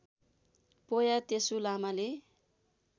पोया तेसु लामाले